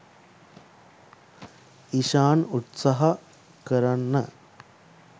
ඉශාන් උත්සහා කරන්න